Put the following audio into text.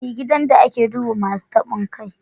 He gidan da a ke duba Masun tabon kai.